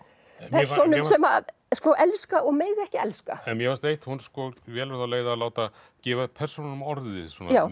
persónum sem að elska og mega ekki elska mér fannst eitt hún velur þá leið að gefa persónunum orðið